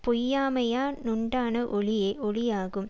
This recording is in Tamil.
பொய்யாமையா னுண்டான ஒளியே ஒளியாகும்